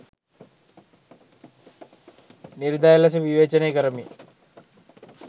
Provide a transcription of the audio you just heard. නිර්දය ලෙස විවේචනය කරමින්